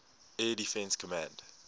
air defense command